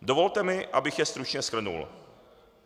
Dovolte mi, abych je stručně shrnul.